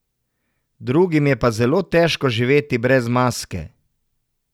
Drugim je pa zelo težko živeti brez maske.